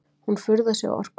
Hún furðar sig á orkunni.